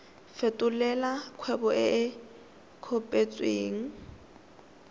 fetolela kgwebo e e kopetswengcc